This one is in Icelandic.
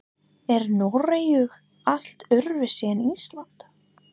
Er Noregur allt öðruvísi en Ísland?